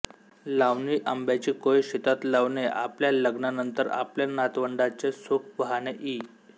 लावणी आंब्याची कोय शेतात लावणेआपल्या लग्नानंतर आपल्या नातवंडांचे सुख पहाणे इ